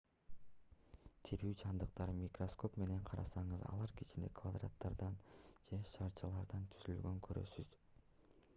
тирүү жандыктарды микроскоп менен карасаңыз алар кичине квадраттардан же шарчалардан түзүлгөнүн көрөсүз